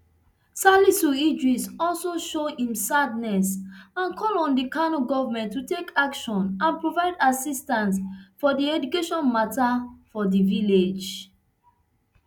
salisu idiris also show im sadness and call on di kano goment to take action and provide assistance for di education mata for di village